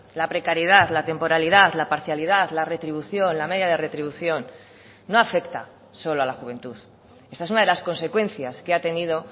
la precariedad la temporalidad la parcialidad la retribución la media de retribución no afecta solo a la juventud esta es una de las consecuencias que ha tenido